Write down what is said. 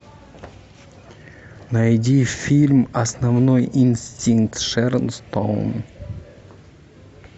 найди фильм основной инстинкт с шерон стоун